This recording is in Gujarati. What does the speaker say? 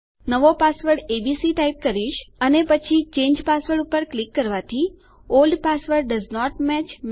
નવો પાસવર્ડ એબીસી ટાઈપ કરીશ અને પછી ચાંગે પાસવર્ડ પર ક્લિક કરવાથી ઓલ્ડ પાસવર્ડ ડોએસન્ટ મેચ